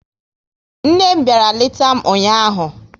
Nne m bịara leta m ụnyaahụ